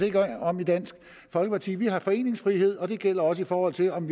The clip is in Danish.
ikke om i dansk folkeparti vi har foreningsfrihed og det gælder også i forhold til om